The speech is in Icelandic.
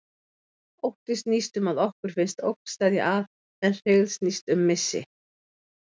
Ótti snýst um að okkur finnst ógn steðja að, en hryggð snýst um missi.